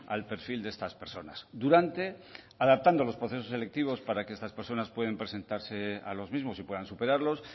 al perfil de estas personas durante adaptando los procesos selectivos para que estas personas puedan presentarse a los mismos y puedan superarlos